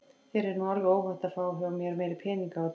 Þér er nú alveg óhætt að fá hjá mér meiri peninga af og til.